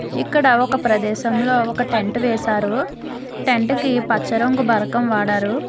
ఇక్కడ ఒక ప్రదేశంలో ఒక టెంట్ వేశారు టెంట్ కి పచ్చ రంగు బరకము వాడరు.